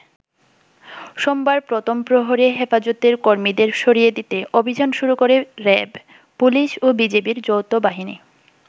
সোমবার প্রথম প্রহরে হেফাজতের কর্মীদের সরিয়ে দিতে অভিযান শুরু করে র‍্যাব, পুলিশ ও বিজিবি’র যৌথ বাহিনী।